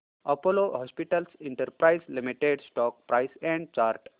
Apollo hospitals enterprise limited stock price and chart